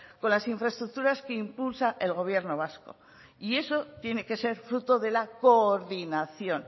con las infraestructuras que impulsa el gobierno vasco y eso tiene que ser fruto de la coordinación